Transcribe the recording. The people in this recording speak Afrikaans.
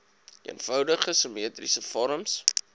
eenvoudige simmetriese vorms